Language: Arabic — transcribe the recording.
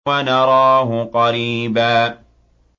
وَنَرَاهُ قَرِيبًا